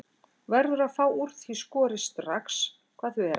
Verður að fá úr því skorið strax hvað þau eru að gera.